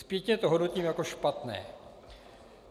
Zpětně to hodnotím jako špatné.